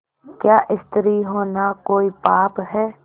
क्या स्त्री होना कोई पाप है